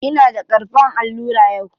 Ina da karɓan allura yau.